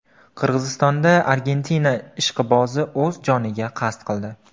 Qirg‘izistonda Argentina ishqibozi o‘z joniga qasd qildi.